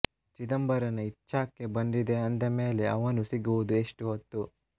ಚಿದಂಬರನ ಇಚ್ಛಾಕ್ಕೆ ಬಂದಿದೆ ಅಂದ ಮೇಲೆ ಅವನು ಸಿಗುವುದು ಎಸ್ಟು ಹೊತ್ತು